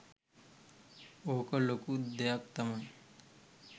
ඕක ලොකු දෙයක් තමයි